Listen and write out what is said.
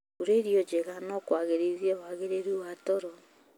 Kũrĩa iro njega no kũagĩrithie wagĩrĩru wa toro.